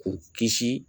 K'u kisi